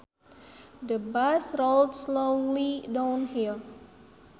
The bus rolled slowly downhill